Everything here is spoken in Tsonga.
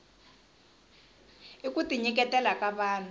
i kuti nyiketela ka vahnu